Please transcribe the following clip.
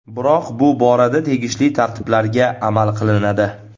Biroq bu borada tegishli tartiblarga amal qilinadi.